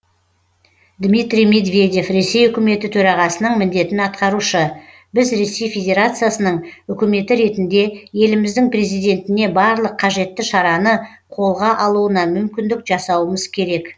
дмитрий медведев ресей үкіметі төрағасының міндетін атқарушы біз ресей федерациясының үкіметі ретінде еліміздің президентіне барлық қажетті шараны қолға алуына мүмкіндік жасауымыз керек